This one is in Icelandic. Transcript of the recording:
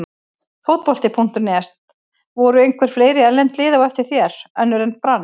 Fótbolti.net: Voru einhver fleiri erlend lið á eftir þér, önnur en Brann?